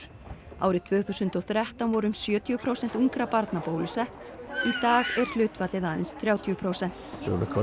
árið tvö þúsund og þrettán voru um sjötíu prósent ungra barna bólusett í dag er hlutfallið aðeins þrjátíu prósent